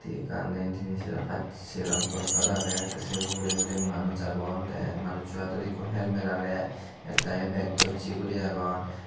ekkan diyen tinen cheraan pachaa cheraan poster agey tey sei urey urey manuj agon tey manusso aadot ikko helmet agey ekadagi bag dossey guri agon.